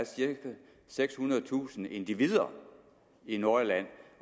sekshundredetusind individer i nordjylland